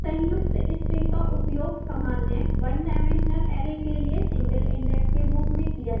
संयुक्त string का उपयोग सामान्य one dimensional array के लिए single index के रूप में किया जाता है